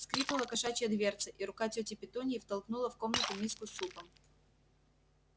скрипнула кошачья дверца и рука тёти петуньи втолкнула в комнату миску с супом